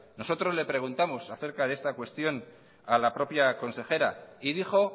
nosotros le preguntamos acerca de esta cuestión a la propia consejera y dijo